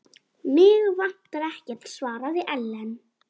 Mig vantar ekkert, svaraði Ellen.